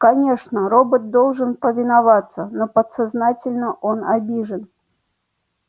конечно робот должен повиноваться но подсознательно он обижен